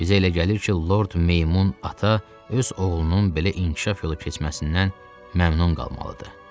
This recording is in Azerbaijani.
Bizə elə gəlir ki, Lord Meymun ata öz oğlunun belə inkişaf yolu keçməsindən məmnun qalmalıdır.